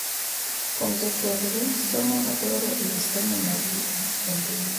Kuom jopuonjre, somo aboro e wi somo margi e mbui